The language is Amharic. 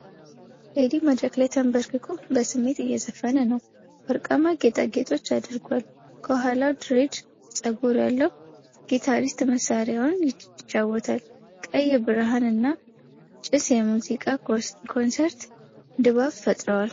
ቴዲ መድረክ ላይ ተንበርክኮ በስሜት እየዘፈነ ነው። ወርቃማ ጌጣጌጦች አድርጓል። ከኋላው ድሬድ ፀጉር ያለው ጊታሪስት መሳሪያውን ይጫወታል። ቀይ ብርሃን እና ጭስ የሙዚቃ ኮንሰርት ድባብ ፈጥረዋል።